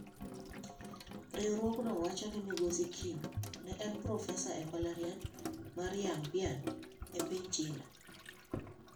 Riwruogno wacho ni Migosi Kim ne en Profesa e mbalariany mar Yanbian e piny China.